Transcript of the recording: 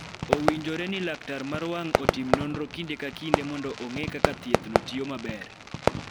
Owinjore ni laktar mar wang� otim nonro kinde ka kinde mondo ong�e kaka thiethno tiyo maber.